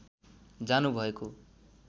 जानु भएको